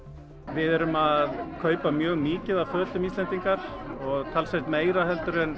við erum að kaupa mjög mikið af fötum Íslendingar talsvert meira heldur en